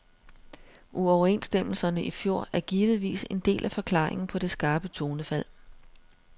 Uoverenstemmelserne i fjor er givetvis en del af forklaringen på det skarpe tonefald.